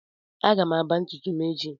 Aga m akba ntutu m echi.